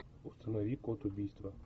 установи код убийства